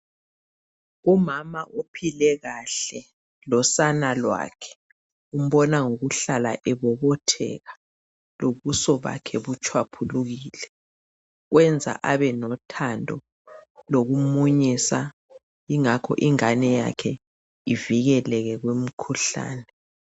Umama uphile kahle losana lwakhe umbona ngokuhlala ebobotheka lobuso bakhe butshwaphulukile kwenza abe lothando lokumunyisa ingakho ingane yakhe ivikeleke kumkhuhlane.